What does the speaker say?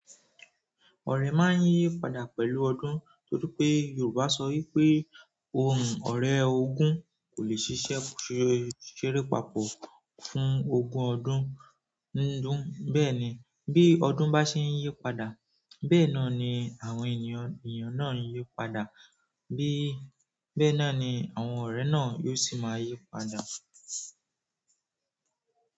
Ọ̀rẹ́ máa ń yí padà pẹ̀lú ọdún torí pé Yorùbá sọ wí pé ọ̀rẹ́ ogún kò lè ṣiṣẹ́ ṣe ṣéré papọ̀ fún ogún ọdún bẹ́ẹ̀ni bíi ọdún ba ṣe yípadà bẹ́ẹ̀ náà ni àwọn èèyàn náà yípadà. Bẹ́ẹ̀ náà ni àwọn ọ̀rẹ́ náà yóò sì máa yí padà.